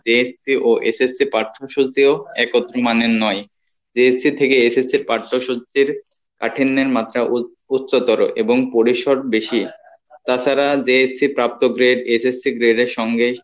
JSC ও SSC পাঠ্যসূচিও একত্র মানের নয় JSC থেকে SSC ইর পাঠ্যসূচির কাঠিন্যের মাত্রা উ~উচ্চতর এবং পরিসর বেশি তাছাড়া JSC ইর প্রাপ্ত grade SSC grade এর সঙ্গে,